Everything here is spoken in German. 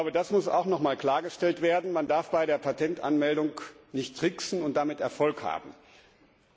Es muss auch noch mal klargestellt werden, dass man bei der Patentanmeldung nicht tricksen und damit Erfolg haben darf.